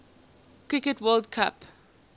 cricket world cup